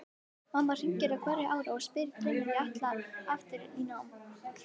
Mamma hringir á hverju ári og spyr hvenær ég ætli aftur í nám.